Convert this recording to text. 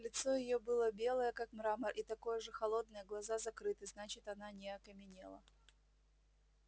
лицо её было белое как мрамор и такое же холодное глаза закрыты значит она не окаменела